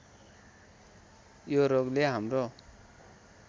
यो रोगले हाम्रो